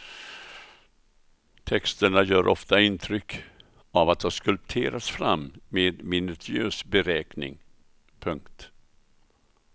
Texterna gör ofta intryck av att ha skulpterats fram med minutiös beräkning. punkt